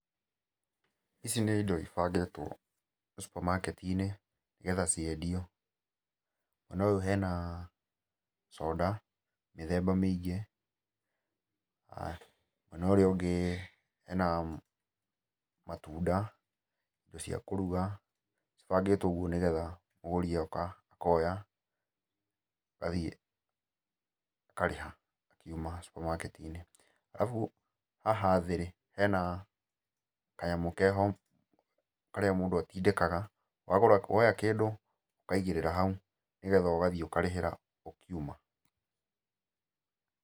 Ici nĩ indo ibangĩtwo supermarket -inĩ nĩgetha ciendio. Mwena ũyũ hena soda mĩthemba mĩingĩ. Mwena ũrĩa ũngĩ hena matunda, indo cia kũruga, cibangĩtwo ũguo nĩgetha mũgũri agoka akoya, agathiĩ akarĩha, akiuma supemarket-inĩ. Alafu haha thĩ-rĩ hena kanyamũ keho karĩa mũndũ atindĩkaga, wagũra, woya kĩndũ, ũkaigĩrĩra hau, nĩgetha ũgathiĩ ũkarĩhĩra ũkiuma.